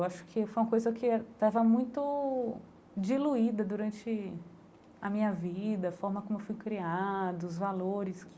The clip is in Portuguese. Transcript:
Eu acho que foi uma coisa que estava muito diluída durante a minha vida, a forma como fui criada, os valores que